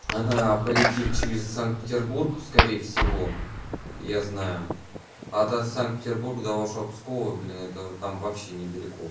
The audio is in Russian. она полетит через санкт-петербург скорее всего я знаю а от санкт-петербурга до вашего пскова блин это там вообще недалеко